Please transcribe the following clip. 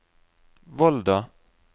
Volda